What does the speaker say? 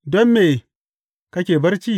Don me kake barci?